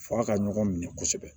F'a ka ɲɔgɔn minɛ kosɛbɛ